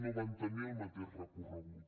no van tenir el mateix recorregut